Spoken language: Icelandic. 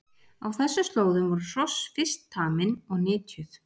Á þessum slóðum voru hross fyrst tamin og nytjuð.